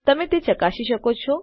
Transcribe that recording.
તમે તેને ચકાસી શકો છો